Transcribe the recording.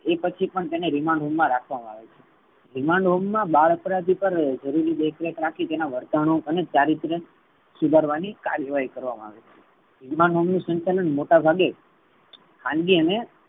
એ પછી પણ એને remand home મા રાખવામા આવે છે. remand home બાળ અપરાધી પર જરૂરી દેખ રેખ રાખી તેના વર્તણુ અને ચરિત્ર સુધારવાની કરેવાહી કરવામા આવે છે. remand home નુ સંચાલન મોટા ભાગે ખાનગી અને